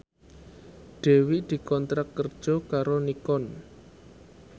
Dewi dikontrak kerja karo Nikon